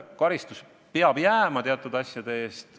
Karistus peab kehtima jääma teatud asjade eest.